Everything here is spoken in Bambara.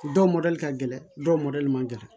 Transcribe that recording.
Dɔw mɔdɛli ka gɛlɛn dɔw mɔdɛli man gɛlɛn